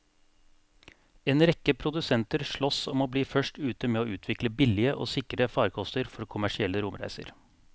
En rekke produsenter sloss om å bli først ute med å utvikle billige og sikre farkoster for kommersielle romreiser.